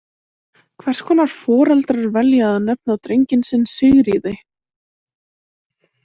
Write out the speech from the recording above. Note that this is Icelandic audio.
Hvers konar foreldrar velja að nefna drenginn sinn Sigríði!